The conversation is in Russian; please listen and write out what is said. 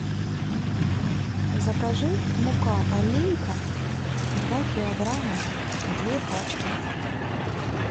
закажи мука алейка два килограмма две пачки